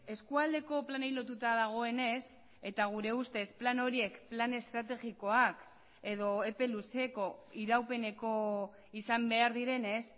eskualdeko planei lotuta dagoenez eta gure ustez plan horiek plan estrategikoak edo epe luzeko iraupeneko izan behar direnez